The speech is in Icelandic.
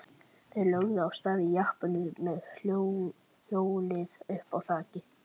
Þeir lögðu af stað í jeppanum með hjólið uppá þaki.